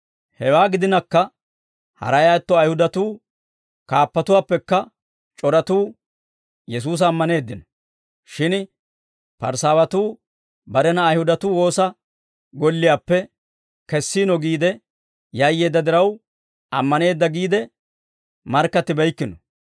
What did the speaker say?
Hewaa gidinakka, haray atto Ayihudatuu kaappatuwaappekka c'oratuu Yesuusa ammaneeddino. Shin Parisaawatuu barena Ayihudatuu woosa golliyaappe kessiino giide yayyeedda diraw, ammaneedda giide markkattibeykkino.